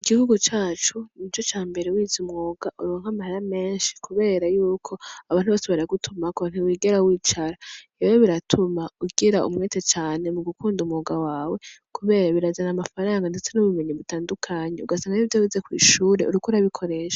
Igihugu cacu nico cambere wize umwuga uronka amahera menshi kubera yuko abantu bose baragutumako, ntiwigera wicara. Rero biratuma ugira umwete cane mu gukunda umwuga wawe kubera birazana amafaranga ndetse n'ubumenyi butandukanye, ugasanga nivyo wize kw'ishure uriko urabikoresha.